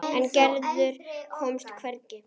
En Gerður komst hvergi.